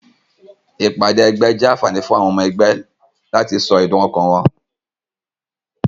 Ìpàdé egbé jé ànfàní fún àwon omo egbé láti so èdùn okàn won